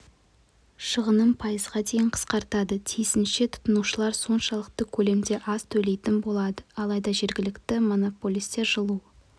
шығынын пайызға дейін қысқартады тиісінше тұтынушылар соншалықты көлемде аз төлейтін болады алайда жергілікті монополистер жылу